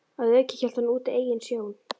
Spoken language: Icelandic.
Að auki hélt hann úti eigin sjón